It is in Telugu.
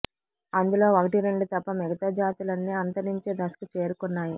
అందులో ఒకటిరెండు తప్ప మిగతా జాతులన్నీ అంతరించే దశకు చేరుకున్నాయి